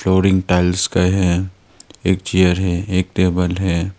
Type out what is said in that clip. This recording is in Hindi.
और एक टाइल्स का है एक चेयर है एक टेबल है।